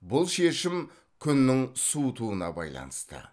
бұл шешім күннің суытуына байланысты